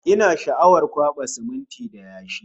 Ina sha'awar kwaɓa siminti da yashi